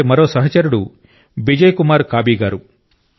అలాంటి మరో సహచరుడు బిజయ్ కుమార్ కాబీ గారు